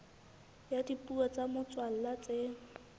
ya dipuo tsa motswalla tse